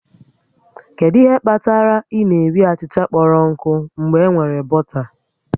Kedu ihe kpatara ị na-eri achịcha kpọrọ nkụ mgbe enwere bọta?